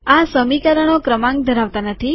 આ સમીકરણો ક્રમાંક ધરાવતા નથી